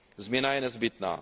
Změna je nezbytná.